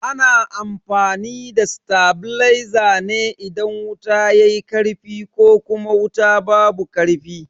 Ana amfani da tabileza ne idan wuta yayi karfi ko kuma wuta babu karfi.